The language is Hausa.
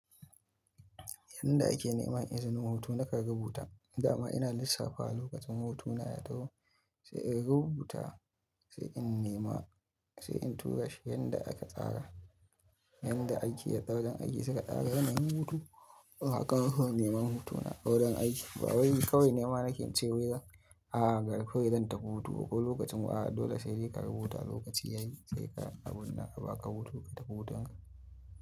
Yanda ake nema izinin hutu na ka rubuta, dama ina lissafa lokacin hutuna ya taho sai in rubuta sai in nema sai in tura shi yanda aka tsara, yanda aiki ya tsara don aji suka tsara. Yana yin hutu haka haka nema hutuna a wajen aiki. Ba wai kawai nema nake ce wa yanzu a garku yanzu ta hutu ko lokacin wa'a dole sai ka rubuta lokaci yayi sai ka abun naka ba ka hutu ta hutun ka.